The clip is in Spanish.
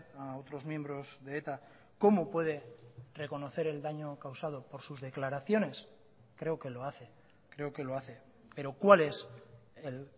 a otros miembros de eta cómo puede reconocer el daño causado por sus declaraciones creo que lo hace creo que lo hace pero cuál es el